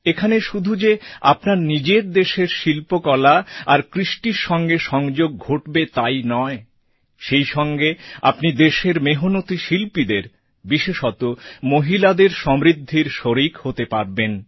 এখানে শুধু যে আপনার নিজের দেশের শিল্পকলা আর সংস্কৃতির সঙ্গে সংযোগ ঘটবে তাই নয় সেই সঙ্গে আপনি দেশের মেহনতী শিল্পীদের বিশেষত মহিলাদের সমৃদ্ধির শরিক হতে পারবেন